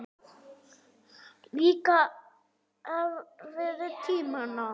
Líka erfiðu tímana.